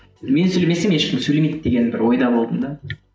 мен сөйлемесем ешкім сөйлемейді деген бір ойда болдым да